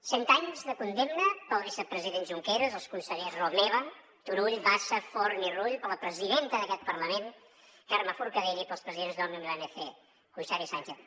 cent anys de condemna per al vicepresident junqueras els consellers romeva turull bassa forn i rull per a la presidenta d’aquest parlament carme forcadell i per als presidents d’òmnium i l’anc cuixart i sànchez